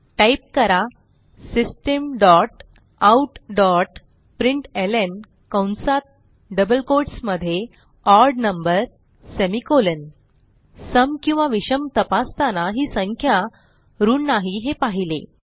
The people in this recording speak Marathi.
टाईप करा systemoutप्रिंटलं कंसात डबल कोट्स मध्येओड नंबर सेमिकोलॉन सम किंवा विषम तपासताना ही संख्या ऋण नाही हे पाहिले